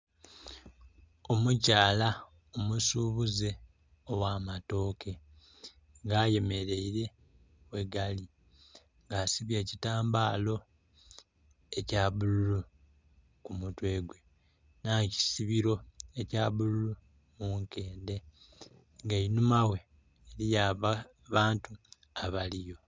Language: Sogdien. Omukyala omusubuze ogh'amatooke. Nga ayemeraile ghegali nga asibye ekitambala, ekya bululu ku mutwe gwe, nh'ekisibiro ekya bululu mu nkendhe. Nga einhumaghe eliyo abantu abaliyo.